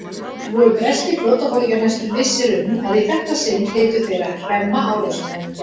Voru breskir flotaforingjar næsta vissir um, að í þetta sinn hlytu þeir að hremma árásarmennina.